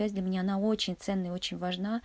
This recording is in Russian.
язь для меня она очень ценна очень важна